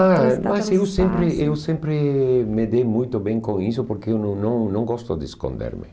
Ah, mas eu sempre eu sempre me dei muito bem com isso porque eu não não gosto de esconder-me.